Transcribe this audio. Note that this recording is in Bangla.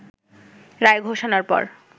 রায় ঘোষণার পর